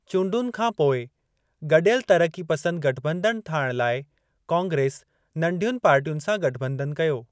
चूंडुनि खां पोइ, गॾियल तरक़ीपसंद गठॿंधन ठाहिण लाइ कांग्रेस, नंढियुनि पार्टियुनि सां गठॿंधन कयो।